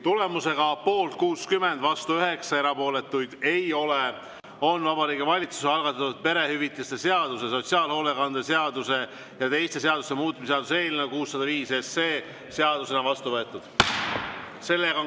Tulemusega poolt 60, vastu 9, erapooletuid ei ole, on Vabariigi Valitsuse algatatud perehüvitiste seaduse, sotsiaalhoolekande seaduse ja teiste seaduste muutmise seaduse eelnõu 605 seadusena vastu võetud.